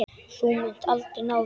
Þú munt aldrei ná þér.